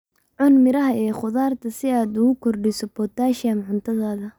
Cun miraha iyo khudaarta si aad ugu kordhiso potassium cuntadaada.